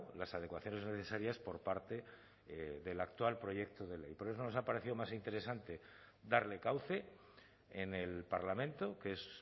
las adecuaciones necesarias por parte del actual proyecto de ley por eso nos ha parecido más interesante darle cauce en el parlamento que es